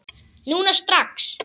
Núna, strax!